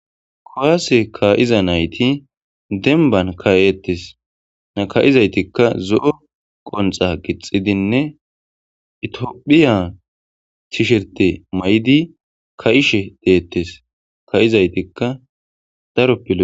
Kowaase ka'iza nayti denban kayettes naka'izaytikka zo'o qonxa gixxidinne itiophiya chisherte may'di ka'ishe deettes ka'izaytikka daro piloe.